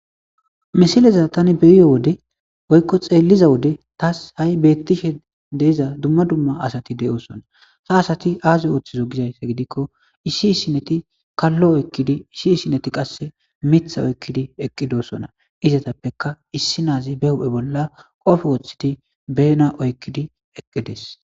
Misileza thani be7iyo wode woykko xeelliza wode thas ha7i beeththishe de7iza dumma dumma asathi de7oosona; ha asathi aazee ooththizoo gizayssa gidikko issi issinithi kallo eqqidi issi issinithi qa miththa oykkidi eqqidosonaizethappekka issinazibe huuphe bolla qofe woththidi beena oyqqidi eqqi des.